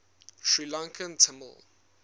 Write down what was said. sri lankan tamil